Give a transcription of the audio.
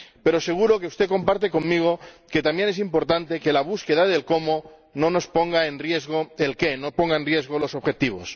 Pero seguro que usted comparte conmigo que también es importante que la búsqueda del cómo no ponga en riesgo el qué, no ponga en riesgo los objetivos.